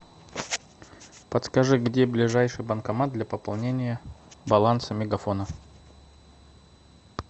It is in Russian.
подскажи где ближайший банкомат для пополнения баланса мегафона